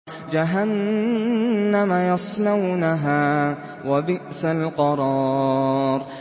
جَهَنَّمَ يَصْلَوْنَهَا ۖ وَبِئْسَ الْقَرَارُ